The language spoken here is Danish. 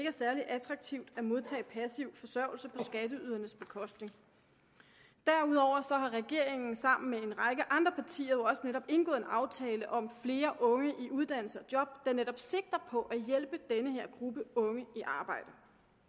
er særlig attraktivt at modtage passiv forsørgelse skatteydernes bekostning derudover har regeringen sammen med en række andre partier jo også netop indgået en aftale om flere unge i uddannelse og job der netop sigter på at hjælpe den her gruppe unge i arbejde